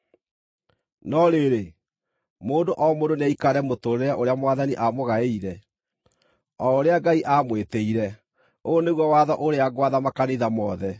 No rĩrĩ, mũndũ o mũndũ nĩaikare mũtũũrĩre ũrĩa Mwathani aamũgaĩire, o ũrĩa Ngai aamwĩtĩire. Ũyũ nĩguo watho ũrĩa ngwatha makanitha mothe.